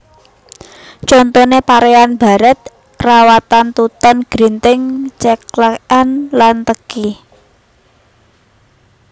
Contoné paréan barèt rawatan tuton grinting ceklèkan lan teki